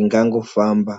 ingangofamba.